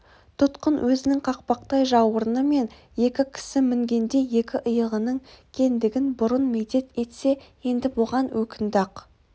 тұтқын өзінің қақпақтай жауырыны мен екі кісі мінгендей екі иығының кендігін бұрын медет етсе енді бұған өкінді-ақ